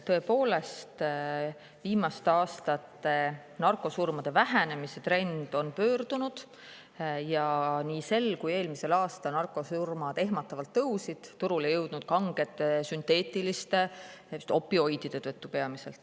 Tõepoolest, viimaste aastate narkosurmade vähenemise trend on pöördunud ja nii sel kui eelmisel aastal nende arv ehmatavalt tõusis, seda peamiselt turule jõudnud kangete sünteetiliste opioidide tõttu.